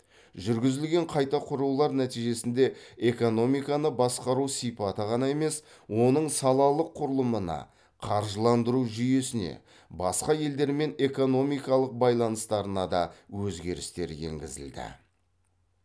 жүргізілген қайта құрулар нәтижесінде экономиканы басқару сипаты ғана емес оның салалық құрылымына қаржыландыру жүйесіне басқа елдермен экономикалық байланыстарына да өзгерістер енгізілді